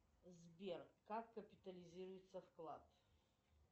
сбер как капитализируется вклад